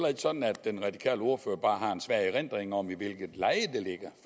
ikke sådan at den radikale ordfører bare har en svag erindring om i hvilket leje